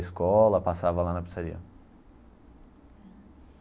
Escola passava lá na pizzaria.